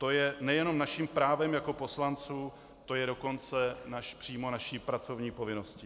To je nejenom naším právem jako poslanců, to je dokonce přímo naší pracovní povinností.